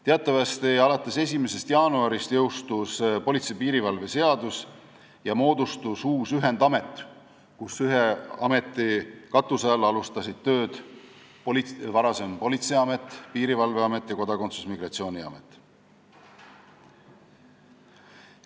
Teatavasti jõustus alates 1. jaanuarist politsei ja piirivalve seadus ning moodustus ühendamet, ühes ametis, ühe katuse all alustasid tööd varasem politseiamet, piirivalveamet ning kodakondsus- ja migratsiooniamet.